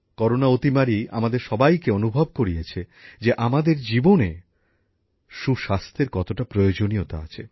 corona অতিমারি আমাদের সবাইকে অনুভব করিয়েছে যে আমাদের জীবনে সুস্বাস্থ্যের কতটা প্রয়োজনীয়তা আছে